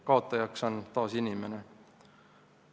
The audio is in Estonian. Kaotajaks on taas inimene.